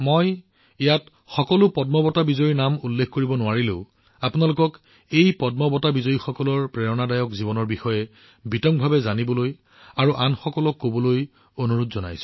মই ইয়াত সকলো পদ্ম বঁটা বিজয়ীৰ নাম লব নোৱাৰিম কিন্তু মই নিশ্চিতভাৱে আপোনালোকক এই পদ্ম বঁটা বিজয়ীসকলৰ অনুপ্ৰেৰণাদায়ক জীৱনৰ বিষয়ে বিতংভাৱে জানিবলৈ আৰু আনকো কবলৈ অনুৰোধ জনাইছো